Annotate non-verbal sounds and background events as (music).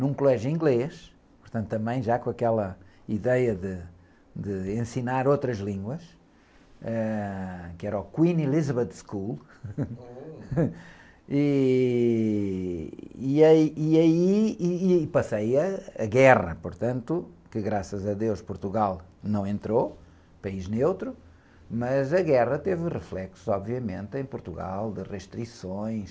num colégio inglês, portanto, também já com aquela ideia de, de ensinar outras línguas, ãh, que era o Queen Elizabeth School, (laughs) e... E aí, e aí, e aí passei a, a guerra, portanto, que graças a Deus Portugal não entrou, país neutro, mas a guerra teve reflexos, obviamente, em Portugal, de restrições,